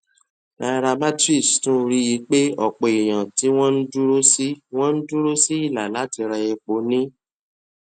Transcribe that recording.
nairametrics tún rí i pé òpò èèyàn tí wọn dúró sí wọn dúró sí ìlà láti ra epo ní